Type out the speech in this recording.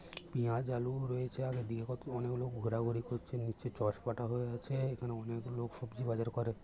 পেঁয়াজ আলু রয়েছে আর অনেকগুলো লোক ঘোড়া ঘুরি করছেন নিচে চসবাটা হয়ে আছে এখানে অনেক লোক সবজি বাজার করে।